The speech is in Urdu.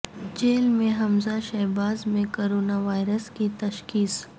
جیل میں حمزہ شہباز میں کورونا وائرس کی تشخیص